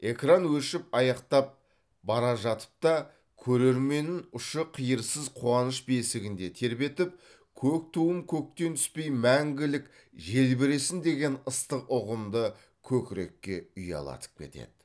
экран өшіп аяқтап бара жатып та көрерменін ұшы қиырсыз қуаныш бесігінде тербетіп көк туым көктен түспей маңгілік желбіресін деген ыстық ұғымды көкірекке ұялатып кетеді